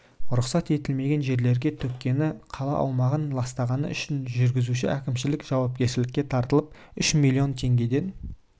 рұқсат етілмеген жерлерге төккені қала аумағын ластағаны үшін жүргізуші әкімшілік жауапкершілікке тартылып үш миллион теңгеден